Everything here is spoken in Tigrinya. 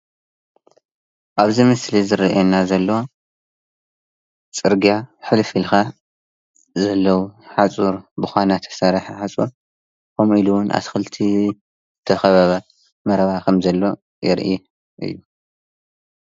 ኣብዚ ምስሊ ዝርአያና ዘሎ ፅርግያ ሕልፍ ኢልካ ዘለዉ ሓፁር ብኳና ተሰርሐ ሓፁር ከምኡ ኢሉውን ኣትክልቲ ተኸበበ መረባ ከምዘሎ የርኢ፡፡